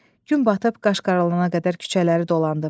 Gün batıb qaşqara olana qədər küçələri dolandım.